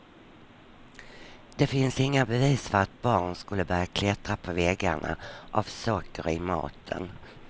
Det finns inga bevis för att barn skulle börja klättra på väggarna av socker i maten.